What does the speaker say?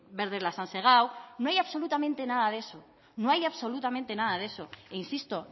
verde les han segado no hay absolutamente nada de eso e insisto